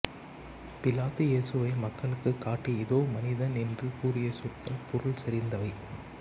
பிலாத்து இயேசுவை மக்களுக்குக் காட்டி இதோ மனிதன் என்று கூறிய சொற்கள் பொருள்செறிந்தவை